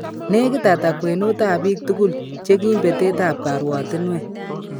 Negit ata kwenut ab bik tugul chekiim betet ab kaaryaawaatinweek